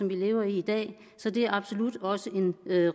vi lever i i dag så det er absolut også en